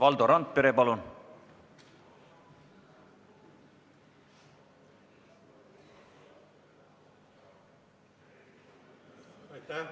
Valdo Randpere, palun!